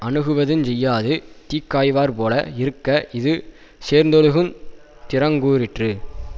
அணுகுவதுஞ் செய்யாது தீக்காய்வார்போல இருக்க இது சேர்ந்தொழுகுந் திறங்கூறிற்று